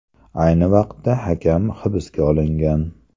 Ayni vaqtda hakam hibsga olingan.